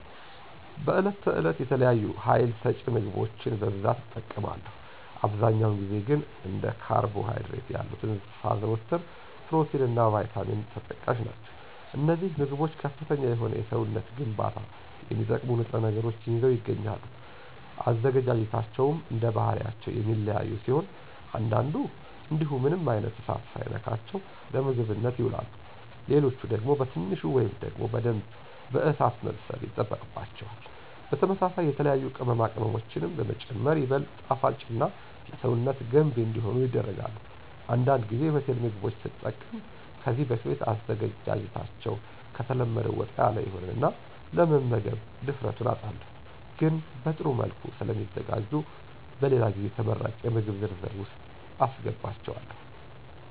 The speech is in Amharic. በዕለት ተዕለት የተለያዩ ሀይል ሰጭ ምግቦችን በብዛት እጠቀማለሁ። አብዛኛውን ጊዜ ግን እንደ ካርቦ ሀይድሬት ያሉትን ሳዘወትር ፕሮቲን እና ቫይታሚንም ተጠቃሽ ናቸው። አነዚህ ምግቦች ከፍተኛ የሆነ ለሰውነት ግንባታ የሚጠቅሙ ንጥረ ነገሮችን ይዘው ይገኛሉ። አዘገጃጀታቸውም እንደባህሪያቸው የሚለያዩ ሲሆን አንዳንዱ እንዲሁ ምንም አይነት እሳት ሳይነካቸው ለምግብነት ይውላሉ። ሌሎች ደግሞ በትንሹ ወይም ደግሞ በደንብ በእሳት መብሰል ይጠበቅባቸዋል። በተመሳሳይ የተለያዩ ቅመማ ቅመሞችንም በመጨመር ይበልጥ ጣፋጭና ለሰውነት ገንቢ እንዲሆኑ ይደረጋል። አንዳንድ ጊዜ የሆቴል ምግቦች ስጠቀም ከዚህ በፊት አዘገጃጀታቸዉ ከተለመደው ወጣ ያለ ይሆንና ለመምገብ ድፍረቱን አጣለሁ። ግን በጥሩ መልኩ ስለሚዘጋጁ በሌላ ጊዜ ተመራጭ የምግብ ዝርዝር ውስጥ አሰገባቸዋለሁ።